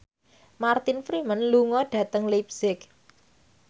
Martin Freeman lunga dhateng leipzig